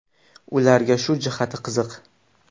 Ularga shu jihati qiziq.